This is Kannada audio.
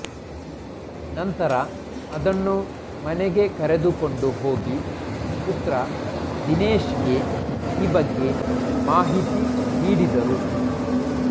ನಂತರ ಅದನ್ನು ಮನೆಗೆ ಕರೆದುಕೊಂಡು ಹೋಗಿ ಪುತ್ರ ದಿನೇಶ್ಗೆ ಈ ಬಗ್ಗೆ ಮಾಹಿತಿ ನೀಡಿದರು